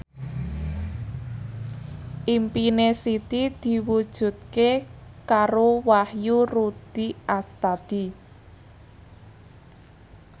impine Siti diwujudke karo Wahyu Rudi Astadi